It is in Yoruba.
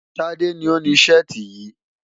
Tádé ni ó ni Ṣẹ́ẹ̀tì yìí.